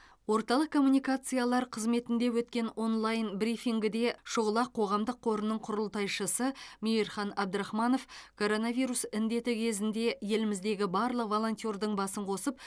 орталық коммуникациялар қызметінде өткен онлайн брифингіде шұғыла қоғамдық қорының құрылтайшысы мейірхан абдрахманов коронавирус індеті кезінде еліміздегі барлық волонтердің басын қосып